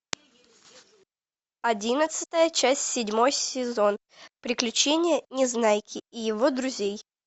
одиннадцатая часть седьмой сезон приключения незнайки и его друзей